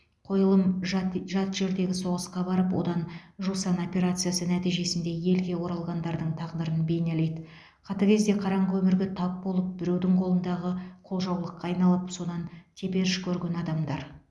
қойылым жат жат жердегі соғысқа барып одан жусан операциясы нәтижесінде елге оралғандардың тағдырын бейнелейді қатыгез де қараңғы өмірге тап болып біреудің қолындағы қолжаулыққа айналып содан теперіш көрген адамдар